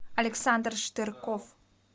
александр штырков